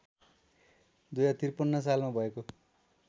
२०५३ सालमा भएको